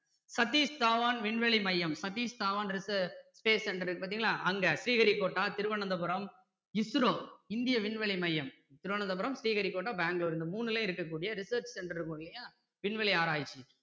சதீஸ் தவான் விண்வெளி மையம் சதீஸ் தவான் இருக்கு space center இருக்கு பார்த்தீங்களா அங்க ஸ்ரீஹரிகோட்டா திருவனந்தபுரம் ISRO இந்திய விண்வெளி மையம் திருவனந்தபுரம் ஸ்ரீஹரிகோட்டா பெங்களூரு இந்த மூணுலயும் இருக்க கூடிய research center இருக்கும் இல்லையா விண்வெளி ஆராயிச்சி